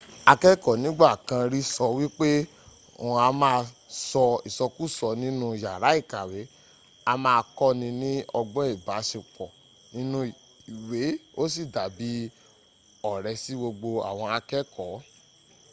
akẹkọ nigba kan ri sọ wipe ‘oun a ma sọ isọkusọ ninu yara ikawe a ma kọni ni ọgbọn ibasepọ ninu iwe o si dabi ọrẹ si gbogbo awon akẹkọ.’